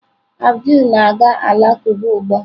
Abdul na-aga alakụba ugbu a.